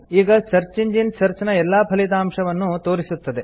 ಈಗ search engine search ನ ಎಲ್ಲಾ ಫಲಿತಾಂಶಗಳನ್ನು ತೋರಿಸುತ್ತದೆ